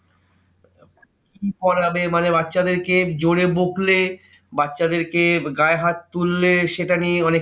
কি পড়াবে মানে বাচ্চাদের কে জোরে বকলে বাচ্চাদেরকে গায়ে হাত তুললে সেটা নিয়ে অনেককিছু